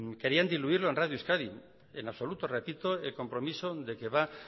querían diluirlo en radio euskadi en absoluto repito el compromiso de que va